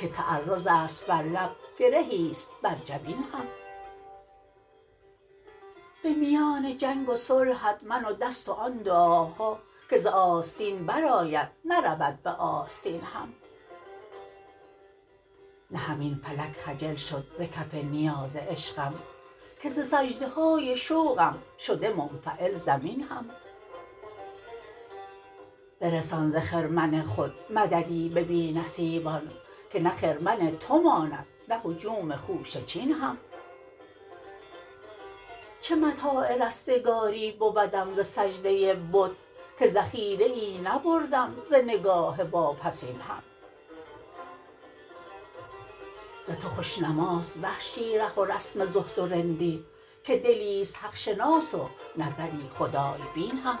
که تعرض است بر لب گرهیست بر جبین هم به میان جنگ و صلحت من و دست و آن دعاها که ز آستین بر آید نه رود به آستین هم نه همین فلک خجل شد ز کف نیاز عشقم که ز سجده های شوقم شده منفعل زمین هم برسان ز خرمن خود مددی به بی نصیبان که نه خرمن تو ماند نه هجوم خوشه چین هم چه متاع رستگاری بودم ز سجده بت که ذخیره ای نبردم ز نگاه واپسین هم ز تو خوش نماست وحشی ره و رسم زهد و رندی که دلیست حق شناس و نظری خدای بین هم